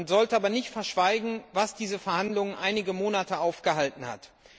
Man sollte aber nicht verschweigen, was diese Verhandlungen einige Monate aufgehalten hat.